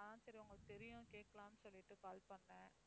அதான் சரி உங்களுக்குத் தெரியும் கேட்கலாம்னு சொல்லிட்டு call பண்னேன்.